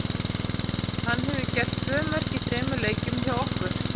Hann hefur gert tvö mörk í þremur leikjum hjá okkur.